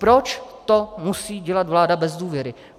Proč to musí dělat vláda bez důvěry?